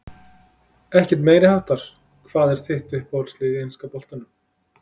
Ekkert meiriháttar Hvað er þitt uppáhaldslið í enska boltanum?